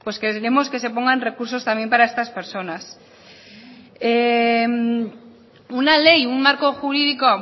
queremos que se pongan recursos también para estas personas una ley un marco jurídico